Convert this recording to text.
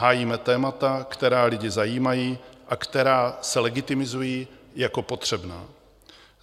Hájíme témata, která lidi zajímají a která se legitimizují jako potřebná.